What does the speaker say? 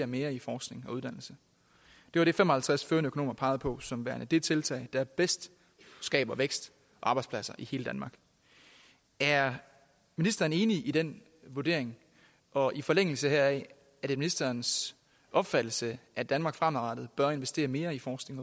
mere i forskning og uddannelse det var det fem og halvtreds førende økonomer pegede på som værende det tiltag der bedst skaber vækst og arbejdspladser i hele danmark er ministeren enig i den vurdering og i forlængelse heraf er det ministerens opfattelse at danmark fremadrettet bør investere mere i forskning